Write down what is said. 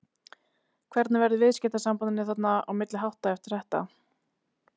Hvernig verður viðskiptasambandinu þarna á milli háttað eftir þetta?